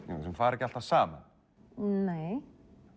fara ekki alltaf saman nei